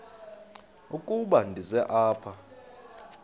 ukuba ndize apha